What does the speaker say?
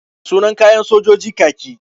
Sunan kayan sojoji kaki.